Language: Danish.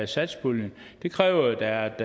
satspuljen det kræver jo at der er